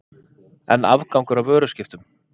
Enn afgangur af vöruskiptum